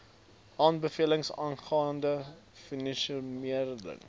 aanbevelings aangaande vonnisvermindering